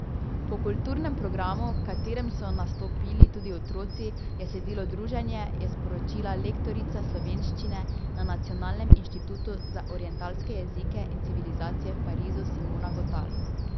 Po kulturnem programu, v katerem so nastopili tudi otroci, je sledilo druženje, je sporočila lektorica slovenščine na Nacionalnem inštitutu za orientalske jezike in civilizacije v Parizu Simona Gotal.